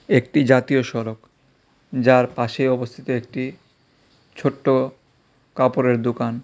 একটি জাতীয় সড়ক যার পাশে অবস্থিত একটি ছোট্ট কাপড়ের দুকান।